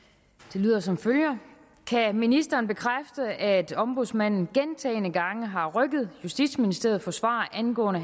det lyder som følger kan ministeren bekræfte at ombudsmanden gentagne gange har rykket justitsministeriet for svar angående